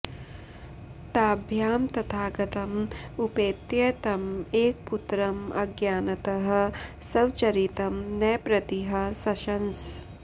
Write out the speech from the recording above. ताभ्यां तथागतं उपेत्य तं एकपुत्रं अज्ञानतः स्वचरितं नृपतिः शशंस